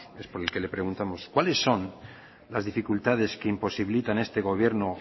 es por el que le preguntamos cuáles son las dificultades que imposibilitan a este gobierno